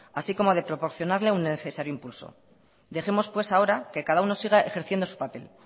así como de proporcionarle un necesario impulso dejemos pues ahora que cada uno siga ejerciendo su papel